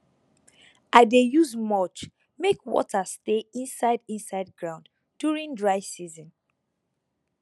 i dey use mulch make water stay inside inside ground during dry season